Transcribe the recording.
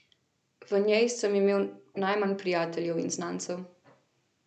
V njej sem imel najmanj prijateljev in znancev.